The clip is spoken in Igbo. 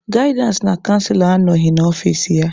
Gaịdịansị na canselọ anọghị n'ọfici ya.